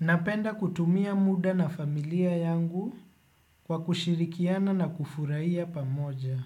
Napenda kutumia muda na familia yangu kwa kushirikiana na kufurahia pamoja.